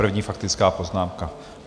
První faktická poznámka.